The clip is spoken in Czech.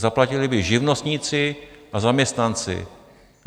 Zaplatili by živnostníci a zaměstnanci.